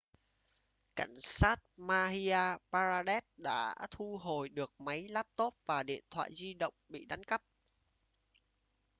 cảnh sát madhya pradesh đã thu hồi được máy laptop và điện thoại di động bị đánh cắp